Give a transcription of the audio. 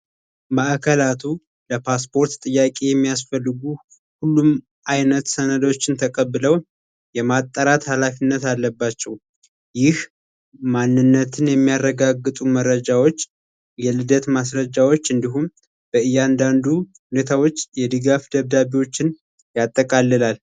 ማእከላቱ ለፓስፖርት ጥያቄ የሚያስፈልጉ ሁሉም አይነት ሰነዶችን ተቀብለው የማጠራት ኃላፊነት አለባቸው ይህ ማንነትን የሚያረጋግጡ መረጃዎች የልደት ማስረጃዎች እንዲያንዳንዱ የድጋፍ ደብዳቤዎችን ያጠቃልላል።